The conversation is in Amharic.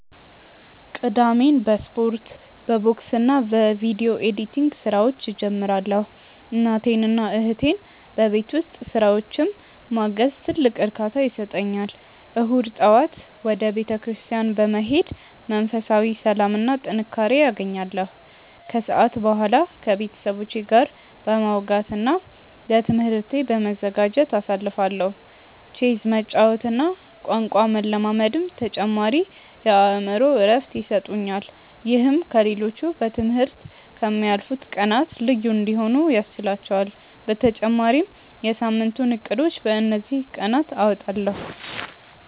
ቅዳሜን በስፖርት፣ በቦክስና በቪዲዮ ኤዲቲንግ ስራዎች እጀምራለሁ። እናቴንና እህቴን በቤት ውስጥ ስራዎች ማገዝም ትልቅ እርካታ ይሰጠኛል። እሁድ ጠዋት ወደ ቤተክርስቲያን በመሄድ መንፈሳዊ ሰላምና ጥንካሬ አገኛለሁ፤ ከሰዓት በኋላ ከቤተሰቦቼ ጋር በማውጋትና ለትምህርቴ በመዘጋጀት አሳልፋለሁ። ቼዝ መጫወትና ቋንቋ መለማመድም ተጨማሪ የአእምሮ እረፍት ይሰጡኛል። ይህም ከ ሌሎቹ በ ትምህርት ከ ምያልፉት ቀናት ልዩ እንዲሆኑ ያስችህላቹአል በተጨማሪም የ ሳምንቱን እቅዶችን በ እንዚህ ቀናት አወጣለሁ።